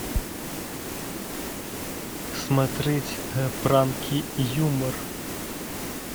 смотреть пранки юмор